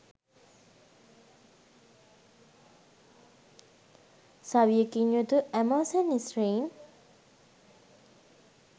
සවියකින් යුතු ඇමසෝන් ස්ත්‍රීන්